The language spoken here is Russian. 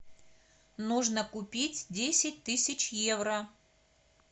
нужно купить десять тысяч евро